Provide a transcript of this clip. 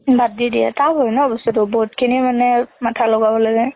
বাদ দি দিয়ে, tough হয় না বস্তু টো। বহুত খিনি মানে মাথা লগাব লাগে